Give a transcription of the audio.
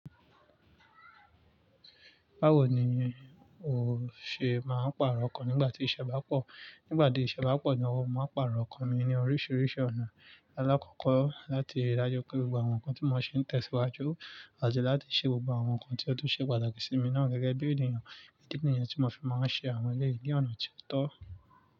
Báwo ni- ni ó ṣe máa ń pàrọ̀ okan nígbà tí iṣẹ́ bá pọ̀? Nígbà ti iṣẹ́ bá pọ̀ gan, mo máa ń pàrọ̀ okan mi ní oríṣiríṣi ọ̀nà. Alákọ̀kọ́ láti ri dájú pé gbogbo àwọn nǹkan tí mo ṣe ń tẹ̀síwájú, àti láti ṣe gbogbo àwọn nǹkan tí ó tún ṣe pàtàkì sí mi náà gẹ́gẹ́ bí ènìyàn, idi ni yen tí mo fi máa ń ṣe àwọn eleyìí ní ọ̀nà tí ó tọ́.